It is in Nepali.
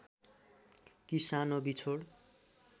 कि सानो बिछोड